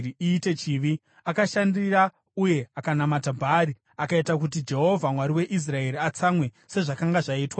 Akashandira uye akanamata Bhaari, akaita kuti Jehovha, Mwari weIsraeri atsamwe, sezvakanga zvaitwa nababa vake.